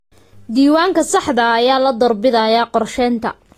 Diiwaanka saxda ah ayaa la doorbidayaa qorsheynta.